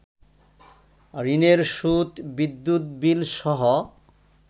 ঋণের সুদ, বিদ্যুৎ বিলসহ